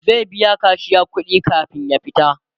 zai biya kashiya kuɗi kamin ya fita